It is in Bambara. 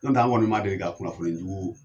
N'o tɛ an kɔni ma deli ka kunnafoni jugu